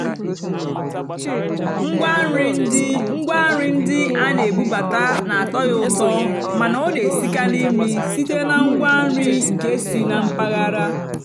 ngwá nrì ndí ngwá nrì ndí á nà-èbúbátá nà-àtọ́ yá ụ́tọ́ màná ọ́ nà-èsìkarị́ nrì sị́té nà ngwá nrì nkè sì nà mpàgàrà.